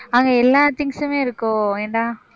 அங்க எல்லா things சுமே இருக்கும். என்ன